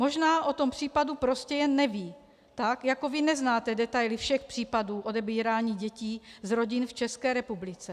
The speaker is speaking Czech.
Možná o tom případu prostě jen neví, tak jako vy neznáte detaily všech případů odebírání děti z rodin v České republice.